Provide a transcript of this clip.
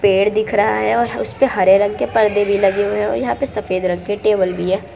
पेड़ दिख रहा है और उसे पर हरे रंग के पर्दे भी लगे हुए हैं यहां पर सफेद रंग के टेबल भी है।